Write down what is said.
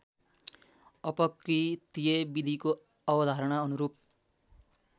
अपकृत्यविधिको अवधारणा अनुरूप